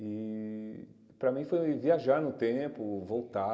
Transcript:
E para mim foi viajar no tempo, voltar,